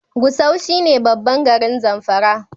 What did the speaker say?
Gusau shi ne babban garin Zamfara